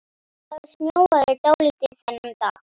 Það snjóaði dálítið þennan dag.